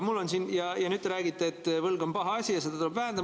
Ja nüüd te räägite, et võlg on paha asi ja seda tuleb vähendada.